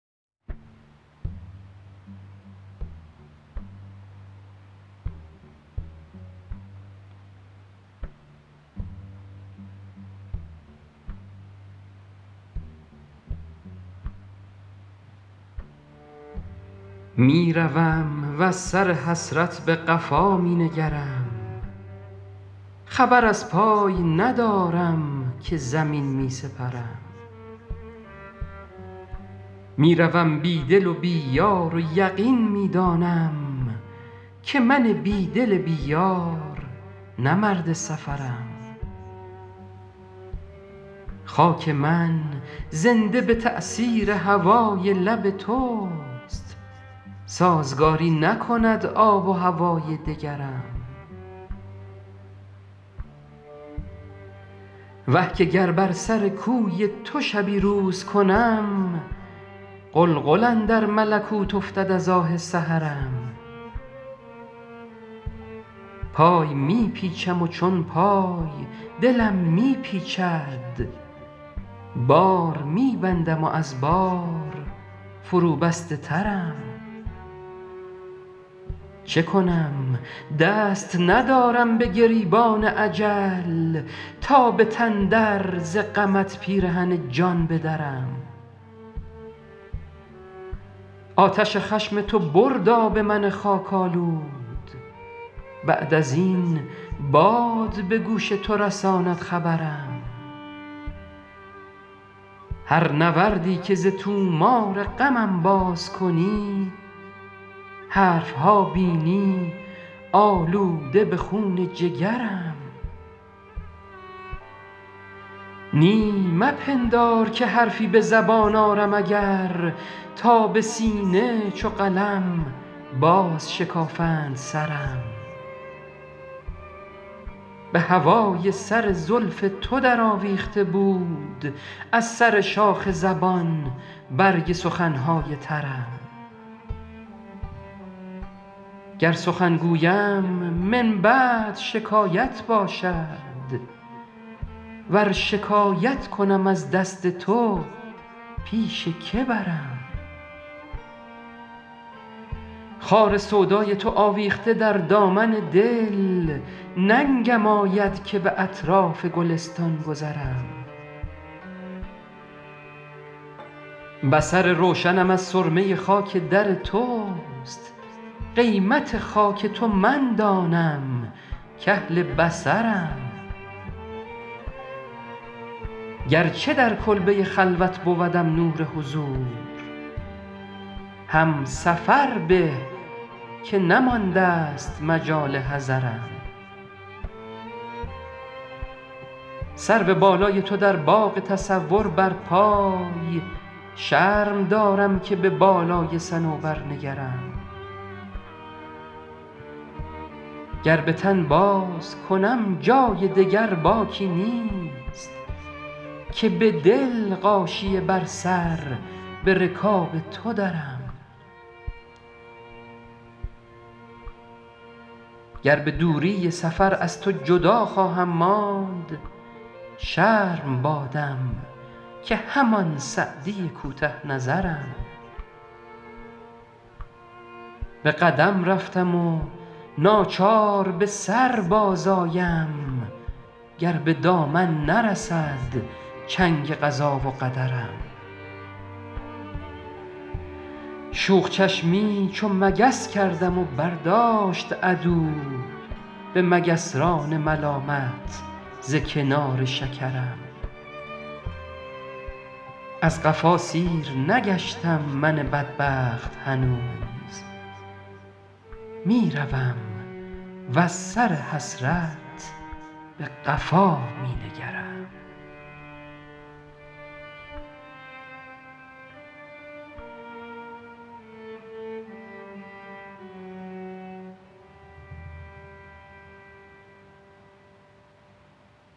می روم وز سر حسرت به قفا می نگرم خبر از پای ندارم که زمین می سپرم می روم بی دل و بی یار و یقین می دانم که من بی دل بی یار نه مرد سفرم خاک من زنده به تأثیر هوای لب توست سازگاری نکند آب و هوای دگرم وه که گر بر سر کوی تو شبی روز کنم غلغل اندر ملکوت افتد از آه سحرم پای می پیچم و چون پای دلم می پیچد بار می بندم و از بار فروبسته ترم چه کنم دست ندارم به گریبان اجل تا به تن در ز غمت پیرهن جان بدرم آتش خشم تو برد آب من خاک آلود بعد از این باد به گوش تو رساند خبرم هر نوردی که ز طومار غمم باز کنی حرف ها بینی آلوده به خون جگرم نی مپندار که حرفی به زبان آرم اگر تا به سینه چو قلم بازشکافند سرم به هوای سر زلف تو درآویخته بود از سر شاخ زبان برگ سخن های ترم گر سخن گویم من بعد شکایت باشد ور شکایت کنم از دست تو پیش که برم خار سودای تو آویخته در دامن دل ننگم آید که به اطراف گلستان گذرم بصر روشنم از سرمه خاک در توست قیمت خاک تو من دانم کاهل بصرم گرچه در کلبه خلوت بودم نور حضور هم سفر به که نماندست مجال حضرم سرو بالای تو در باغ تصور برپای شرم دارم که به بالای صنوبر نگرم گر به تن بازکنم جای دگر باکی نیست که به دل غاشیه بر سر به رکاب تو درم گر به دوری سفر از تو جدا خواهم ماند شرم بادم که همان سعدی کوته نظرم به قدم رفتم و ناچار به سر بازآیم گر به دامن نرسد چنگ قضا و قدرم شوخ چشمی چو مگس کردم و برداشت عدو به مگسران ملامت ز کنار شکرم از قفا سیر نگشتم من بدبخت هنوز می روم وز سر حسرت به قفا می نگرم